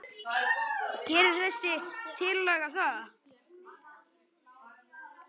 Gerir þessi tillaga það?